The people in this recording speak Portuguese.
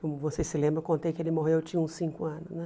Como vocês se lembram, eu contei que ele morreu, eu tinha uns cinco anos né.